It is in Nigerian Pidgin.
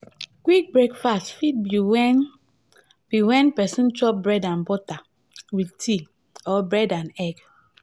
quick breakfast fit be when be when person chop bread and butter with tea or bread and egg